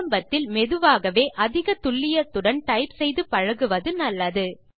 ஆரம்பத்தில் மெதுவாகவே அதிக துல்லியத்துடன் டைப் செய்து பழகுவது நல்லது